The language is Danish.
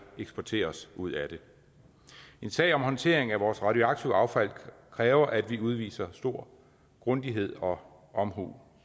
eksportere os ud af det en sag om håndtering af vores radioaktive affald kræver at vi udviser stor grundighed og omhu